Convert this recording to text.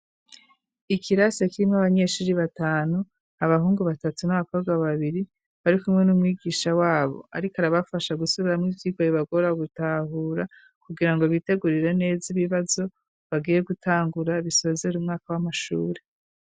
Ikirase kirimwo abanyeshuri batanu abahungu batatu n'abakobwa babiri bari kumwe n'umwigisha wabo ariko arabafasha gusubiramwo ivyirwa bibagora gutahura kugira ngo bitegurire neza ibibazo bagiye gutangura bisozera umwaka w'amashuri.